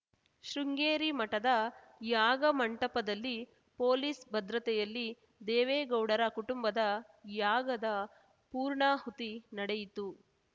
ಶೃಂಗೇರಿ ಮಠದ ಯಾಗಮಂಟಪದಲ್ಲಿ ಪೊಲೀಸ್‌ ಭದ್ರತೆಯಲ್ಲಿ ದೇವೇಗೌಡರ ಕುಟುಂಬದ ಯಾಗದ ಪೂರ್ಣಹುತಿ ನಡೆಯಿತು